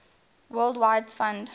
world wildlife fund